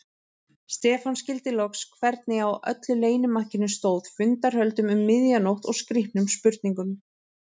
Stefán skildi loks hvernig á öllu leynimakkinu stóð, fundarhöldum um miðja nótt og skrýtnum spurningum.